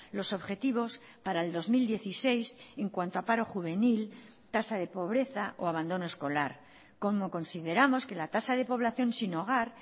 los objetivos para el dos mil dieciséis en cuanto a paro juvenil tasa de pobreza o abandono escolar como consideramos que la tasa de población sin hogar